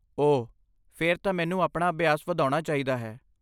ਓਹ, ਫੇਰ ਤਾਂ ਮੈਨੂੰ ਆਪਣਾ ਅਭਿਆਸ ਵਧਾਉਣਾ ਚਾਹੀਦਾ ਹੈ।